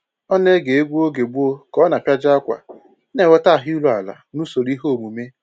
Ọ na-ege egwu oge gboo ka ọ na-apịaji ákwà, na-enweta ahụ iru ala n'usoro ihe omume